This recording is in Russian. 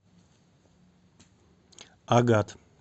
агат